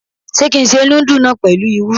Ṣé kí n se núdù náà pẹ̀lú irú?